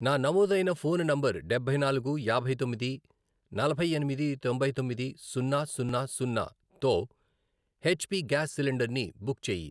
నా నమోదైన phone number డబ్బై నాలుగు, యాభై తొమ్మిది, నలభై ఎనిమిది, తొంభై తొమ్మిది, సున్నా. సున్నా, సున్నా, తో ఎచ్ పి గ్యాస్ సిలిండర్ని బుక్ చేయి.